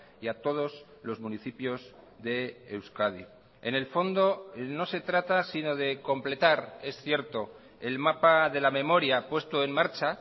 y a todos los municipios de euskadi en el fondo no se trata si no de completar es cierto el mapa de la memoria puesto en marcha